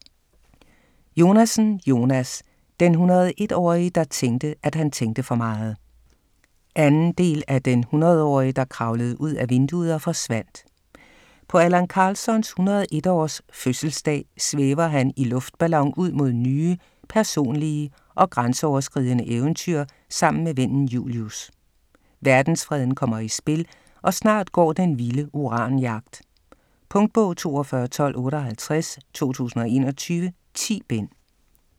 Jonasson, Jonas: Den hundred og et-årige der tænkte at han tænkte for meget 2. del af Den hundredårige der kravlede ud ad vinduet og forsvandt. På Allan Karlssons 101 års fødselsdag svæver han i luftballon ud mod nye personlige og grænseoverskridende eventyr sammen med vennen Julius. Verdensfreden kommer i spil og snart går den vilde uranjagt. Punktbog 421258 2021. 10 bind.